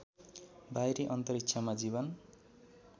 बाहिरी अन्तरिक्षमा जीवन